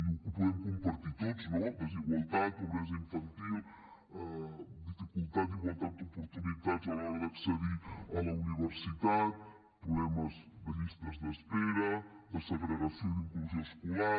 ho podem compartir tots no desigualtat pobresa infantil dificultat d’igualtat d’oportunitats a l’hora d’accedir a la universitat problemes de llistes d’espera de segregació i d’inclusió escolar